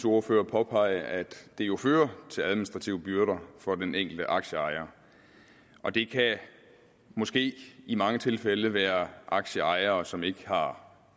ordfører påpege at det jo fører til administrative byrder for den enkelte aktieejer og det kan måske i mange tilfælde være aktieejere som ikke har